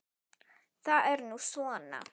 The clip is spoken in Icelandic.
Það er nú svona.